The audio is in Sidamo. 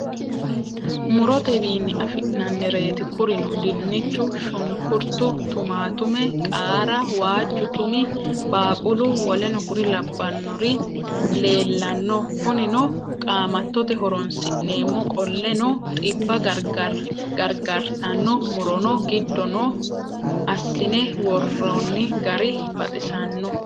murottewini afina'niretti kurino dinichu, shunikkurittu, tumattume, qaarra, waajju tummi, baaqulu w.k.l leellanno kunnino qaamatote horonisinnemo qolleno xibba gariggaritano murrono giddo noo assine worrinni gari baxissano